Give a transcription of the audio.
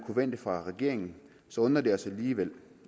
forvente fra regeringen så undrer det os alligevel